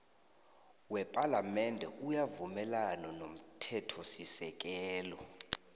wepalamende uyavumelana nomthethosisekelo